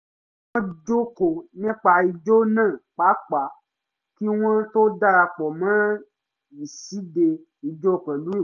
wọ́n jọ kọ́ nípa ijó náà papọ̀ kí wọ́n tó dara pọ̀ mọ́ ìṣíde ìjó pẹ̀lú ìgboyà